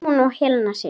Símon og Helena Sif.